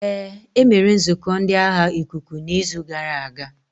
Ee, e mere nzukọ ndi agha ikuku n'izu gara aga.